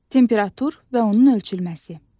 Temperatur və onun ölçülməsi.